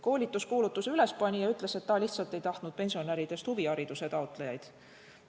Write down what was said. Koolituskuulutuse ülespanija ütles, et ta lihtsalt ei tahtnud, et tulevad pensionäridest huvihariduse taotlejad.